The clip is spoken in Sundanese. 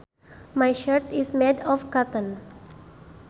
My shirt is made of cotton